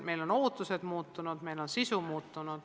Meie ootused on muutunud, sisu on muutunud.